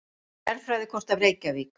Jarðfræðikort af Reykjavík.